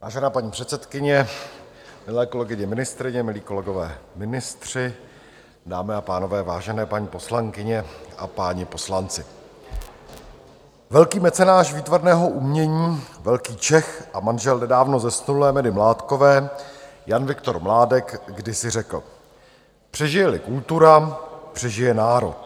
Vážená paní předsedkyně, milé kolegyně ministryně, milí kolegové ministři, dámy a pánové, vážené paní poslankyně a páni poslanci, velký mecenáš výtvarného umění, velký Čech a manžel nedávno zesnulé Medy Mládkové Jan Viktor Mládek kdysi řekl: přežije-li kultura, přežije národ.